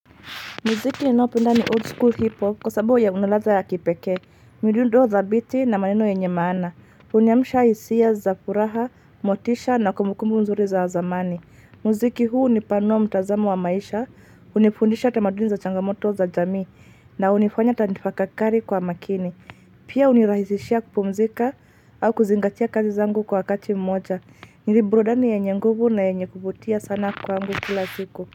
Muziki naopenda ni old school hip hop kwa sababu ya unaladha ya kipekee, midundo za biti na maneno yenye maana, uniamsha hisia za furaha, motisha na kumukumbu mzuri za wa zamani. Muziki huu ni pano mtazamo wa maisha, unifundisha tamaduni za changamoto za jamii na unifanya atanitafakakari kwa makini. Pia unirahisishia kupumzika au kuzingatia kazi zangu kwa akati mmoja, nilibrudani yenye nguvu na yenye kuvutia sana kwangu kila siku.